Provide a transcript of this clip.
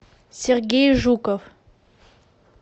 сергей жуков